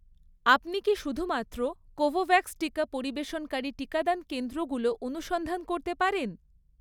আপনি কি শুধুমাত্র কোভোভ্যাক্স টিকা পরিবেশনকারী টিকাদান কেন্দ্রগুলো অনুসন্ধান করতে পারেন?